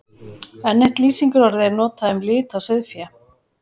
Enn eitt lýsingarorðið er notað um lit á sauðfé.